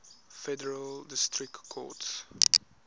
federal district courts